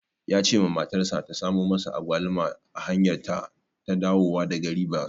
Ya cewa matarsa ta samu masa Agwaluma a hanyarta ta dawowa daga Ribas.